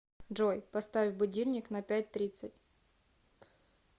джой поставь будильник на пять тридцать